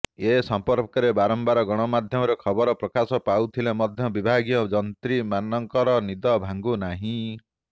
ଏ ସମ୍ପର୍କରେ ବାରମ୍ବାର ଗଣମାଧ୍ୟମରେ ଖବର ପ୍ରକାଶ ପାଉଥିଲେ ମଧ୍ୟ ବିଭାଗୀୟ ଯନ୍ତ୍ରୀ ମାନଙ୍କର ନିଦ ଭାଙ୍ଗୁ ନାହିଁ